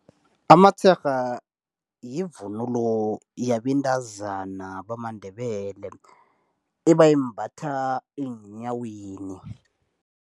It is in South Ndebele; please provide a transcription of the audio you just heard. Amatsherha yivunulo yabentazana bamaNdebele. Ebayimbatha eenyaweni.